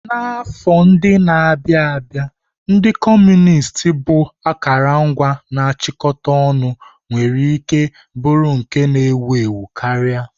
N'ime afọ ndị na-abịa, ndị Kọmunist bụ akụrụngwa na-achịkọta ọnụ nwere ike bụrụ nke ewu ewu karịa.